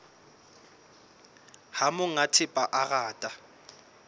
ha monga thepa a rata